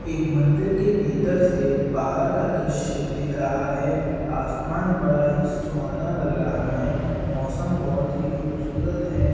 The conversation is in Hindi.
एक मंदिर के भीतर से बाहर का दृश्य दिख रहा है। आसमान बड़ा ही सुहाना लग रहा है। मौसम बोहोत ही खूबसूरत है।